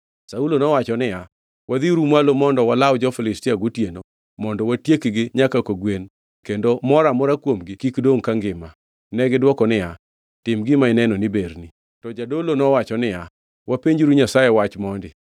Saulo nowacho niya, “Wadhiuru mwalo mondo walaw jo-Filistia gotieno, mondo watiekgi nyaka kogwen kendo moro amora kuomgi kik dongʼ kangima.” Negidwoko niya, “Tim gima ineno ni berni.” To jadolo nowacho niya, “Wapenjuru Nyasaye wach mondi.”